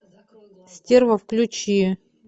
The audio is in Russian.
стерва включи